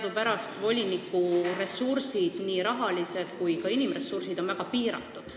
Teadupärast on voliniku rahalised ja inimressursid väga piiratud.